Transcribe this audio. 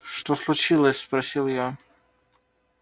так что случилось спросил я